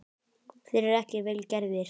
Þeir eru ekki vel gerðir.